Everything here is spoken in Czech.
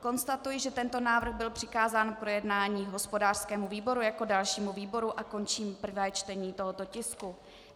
Konstatuji, že tento návrh byl přikázán k projednání hospodářskému výboru jako dalšímu výboru, a končím prvé čtení tohoto tisku.